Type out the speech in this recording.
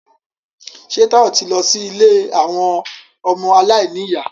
Ṣé Táyọ̀ ti lọ sí ilé àwọn ọmọ aláìníyà?